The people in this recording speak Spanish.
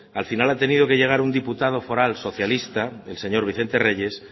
al final ha tenido que llegar un diputado foral socialista el señor vicente reyes